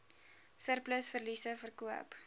surplus verliese verkoop